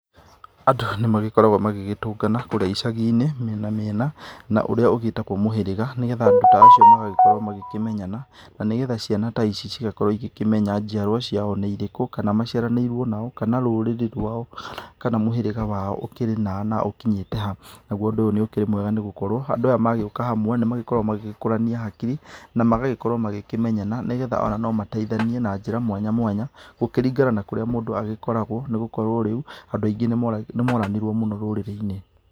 Andũ aya nĩ magĩkoragwo magĩgĩtũngana kũrĩa icagi-inĩ, mĩena mĩena, na ũrĩa ũgĩtagwo mũhĩrĩga nĩgetha andũ ta acio magagĩkorwo makĩmenyana na nĩgetha ciana ta ici cigakorwo igĩkĩmenya njiarwa ciao nĩ irĩkũ, kana maciaranĩirwo na ũũ, kana rũrĩrĩ rwao kana mũhĩrĩga wao ũkĩrĩ na aa na ũkinyĩte ha. Naguo ũndũ ũyũ ũkĩrĩ mwega nĩ gũkorwo, andũ aya magĩũka hamwe nĩ magĩkoragwo magĩkũrania hakiri na magagĩkorwo magĩkĩmenyana nĩ getha ona no mateithainie na njĩra mwanya mwanya gũkĩringana na kũrĩa mũndũ agĩkoragwo nĩ gũkorwo rĩu andũ aingĩ nĩ moranirwo mũno rũrĩrĩ-inĩ.